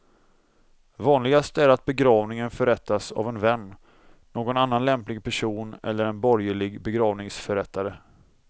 Vanligast är att begravningen förrättas av en vän, någon annan lämplig person eller en borgerlig begravningsförrättare.